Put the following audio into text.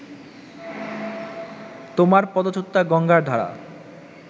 তোমার পদচ্যূতা গঙ্গার ধারা